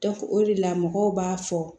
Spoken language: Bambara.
o de la mɔgɔw b'a fɔ